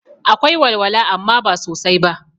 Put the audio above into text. Akwai walwala amma ba sosai ba